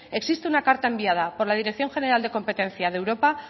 existe una carta enviada por la dirección general de competencia de europa